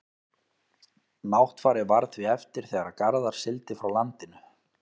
náttfari varð því eftir þegar garðar sigldi frá landinu